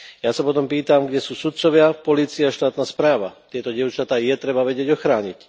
Ja sa potom pýtam, kde sú sudcovia, polícia a štátna správa? Tieto dievčatá treba vedieť ochrániť.